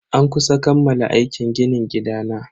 An kusa kammala aikin ginin gidana.